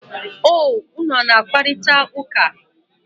O, unu a na-akparịta ụka?